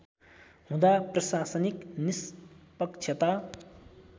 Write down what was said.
हुँदा प्रशानिक निष्पक्षता